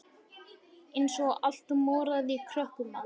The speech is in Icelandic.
Eins og allt moraði í krökkum maður.